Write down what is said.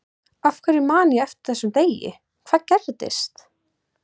Af hverju man ég eftir þessum degi, hvað gerðist?